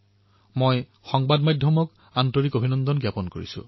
আপোনাৰ সহযোগিতা অবিহনে মন কী বাতৰ এই যাত্ৰা আধৰুৱা হৈ থাকিলহেঁতেন